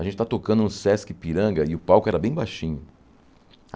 A gente está tocando no Sesc Ipiranga e o palco era bem baixinho.